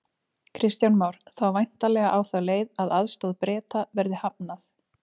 Kristján Már: Þá væntanlega á þá leið að aðstoð Breta verði hafnað?